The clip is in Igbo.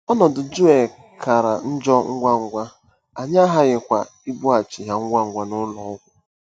Ọnọdụ Joel kara njọ ngwa ngwa, anyị aghaghịkwa ibughachi ya ngwa ngwa n'ụlọ ọgwụ.